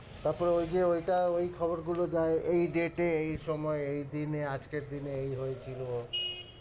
তারপরে ওই যে ঐটা ওই খবর গুলো দেয়, এই date এ এই সময় এই দিনে আজকের দিনে এই হয়েছিল